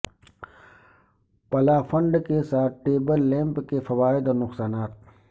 پلافنڈ کے ساتھ table lamp کے فوائد اور نقصانات